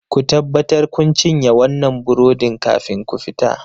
Ku tabbatar kun cinye wannan burodin kafin ku fita!